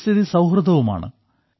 പരിസ്ഥിതി സൌഹൃദവുമാണ്